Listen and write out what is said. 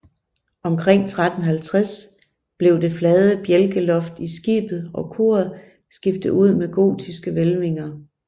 Omkring 1350 blev det flade bjælkeloft i skibet og koret skiftet ud med gotiske hvælvinger